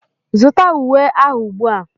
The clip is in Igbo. Zụta uwe ahụ ugbu a!